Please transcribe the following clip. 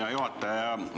Hea juhataja!